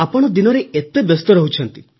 ଆପଣ ଦିନରେ ଏତେ ବ୍ୟସ୍ତ ରହୁଛନ୍ତି